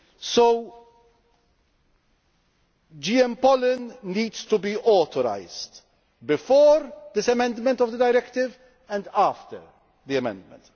So, GM pollen needs to be authorised before this amendment of the directive, and after the amendment.